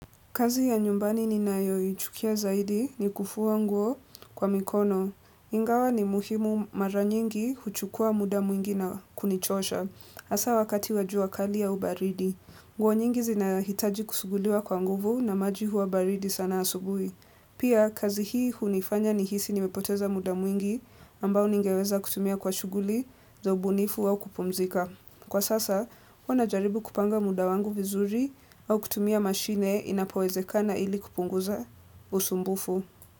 Kazi ya nyumbani ninayo ichukia zaidi ni kufua nguo kwa mikono. Ingawa ni muhimu mara nyingi huchukua muda mwingi na kunichosha. Asa wakati wa jua kali au baridi. Nguo nyingi zinahitaji kusuguliwa kwa nguvu namaji huwa baridi sana asubui. Pia kazi hii hunifanya nihisi nimepoteza muda mwingi ambao ningeweza kutumia kwa shuguli za ubunifu au kupumzika. Kwa sasa, huwa najaribu kupanga muda wangu vizuri au kutumia mashine inapowezekana ili kupunguza usumbufu.